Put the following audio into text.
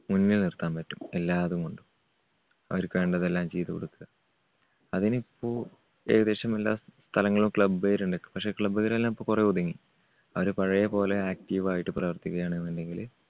മുന്നെ നിർത്താൻപറ്റും എല്ലാതും കൊണ്ടും. അവര്ക്ക് വേണ്ടതെല്ലാം ചെയ്‌തുകൊടുക്കുക. അതിനിപ്പോ ഏകദേശം എല്ലാ സ്ഥലങ്ങളിലും club കാരുണ്ട്. പക്ഷേ club കാരെല്ലാം ഇപ്പോ കൊറേ ഒതുങ്ങി. അവര് പഴയപോലെ active ആയിട്ട് പ്രവർത്തികയാണെന്നുണ്ടെങ്കില്